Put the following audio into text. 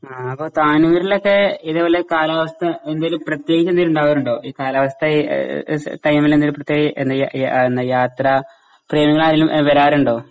അപ്പോ താനൂരിലൊക്കെ ഇതേ പോലെ കാലാവസ്ഥ എന്തേലും പ്രത്യേകിച്ച് എന്തെങ്കിലും ഉണ്ടാകാരുണ്ടോ? കാലാവസ്ഥ ടൈമില് എന്തെങ്കിലും എന്താ യാത്ര പ്രേമികള് ആരെങ്കിലും വരാറുണ്ടോ?